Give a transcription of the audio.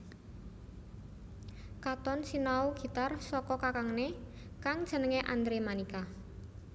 Katon sinau gitar saka kakangné kang jenengé Andre Manika